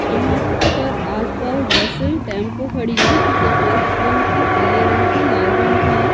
यहाँ पर आसपास बसें टेंपो खड़ी हैं जो सफेद रंग की पीले रंग की लाल रंग की हैं।